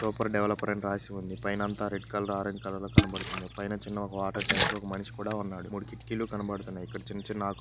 Super developer అని రాసి ఉంది. పైన అంతా రెడ్ కలర్ ఆరెంజ్ కలర్ లో కనబడుతుంది. పైన చిన్న ఒక వాటర్ ట్యాంక్ ఒక మనిషి కూడా ఉన్నాడు. మూడు కిటికీలు కనబడుతున్నాయి. ఇక్కడ చిన్న చిన్న ఆకు--